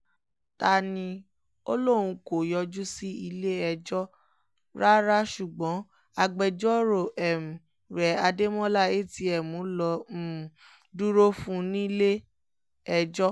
ta-ni-ọlọ́hun kò yọjú sí ilé-ẹjọ́ rárá ṣùgbọ́n agbẹjọ́rò um rẹ̀ adémọlá atm ló um dúró fún un nílé-ẹjọ́